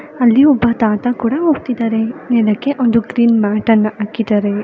ಒಬ್ಬ ತಾತ ಕೂಡ ಹೋಗ್ತಾ ಇದ್ದಾರೆ ಒಂದು ಕ್ಲೀನ್ ಮ್ಯಾಟ್ ಅನ್ನು ಹಾಕಿದ್ದಾರೆ